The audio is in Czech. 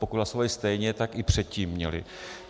Pokud hlasovali stejně, tak i předtím měli.